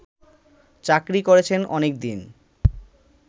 চাকরি করেছেন অনেকদিন